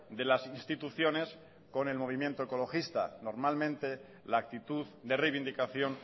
de las instituciones con el movimiento ecologista normalmente la actitud de reivindicación